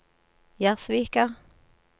Gjerdsvika